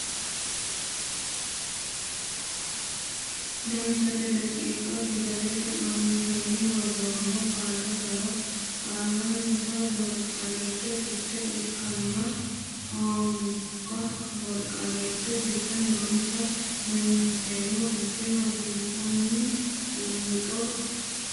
Danchate daqiiqa fidalete aantenni woroommo qaalla gara Qaallannita Borqaallate Fiche ikkanna hooga borqaallate giddo noonsa Loonseemmo fiche hansanni buunxo Danchate.